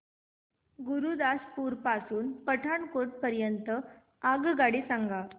गुरुदासपुर पासून पठाणकोट दरम्यान आगगाडी सांगा